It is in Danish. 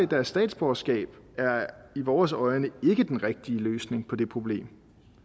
deres statsborgerskab er i vores øjne ikke den rigtige løsning på det problem